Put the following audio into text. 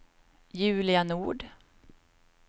Julia Nord